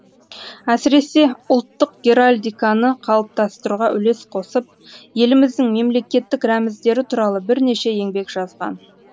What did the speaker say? әсіресе ұлттық геральдиканы қалыптастыруға үлес қосып еліміздің мемлекеттік рәміздері туралы бірнеше еңбек жазған